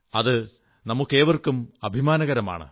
അത് നമുക്കേവർക്കും അഭിമാനകരമാണ്